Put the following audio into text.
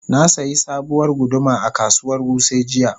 Na sayi sabuwar guduma a kasuwar Wuse jiya.